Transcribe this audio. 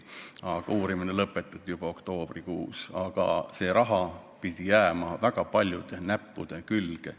Uurimine lõpetati juba oktoobrikuus, aga see raha pidi jääma väga paljude näppude külge.